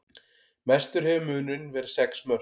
Mestur hefur munurinn verið sex mörk